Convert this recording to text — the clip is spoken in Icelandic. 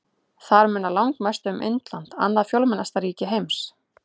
Þar munar langmest um Indland, annað fjölmennasta ríki heims.